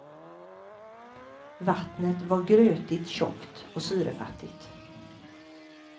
Vattnet var grötigt tjockt och syrefattigt.